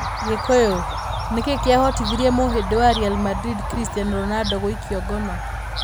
Gĩkũyũ: Nĩ kĩĩ kĩahotithirie mũhĩndĩ wa Real Madrid, Cristiano Ronaldo, gũikio ngono?